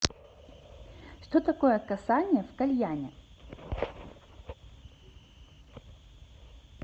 что такое касание в кальяне